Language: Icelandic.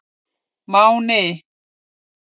Máni